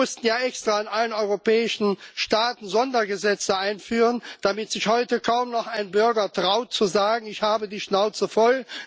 Sie mussten ja extra in allen europäischen Staaten Sondergesetze einführen, damit sich heute kaum noch ein Bürger zu sagen traut Ich habe die Schnauze voll.